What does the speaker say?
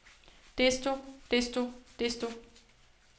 desto desto desto